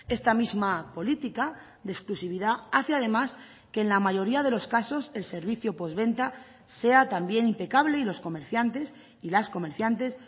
esta misma política de exclusividad hace además que en la mayoría de los casos el servicio postventa sea también impecable y los comerciantes y las comerciantes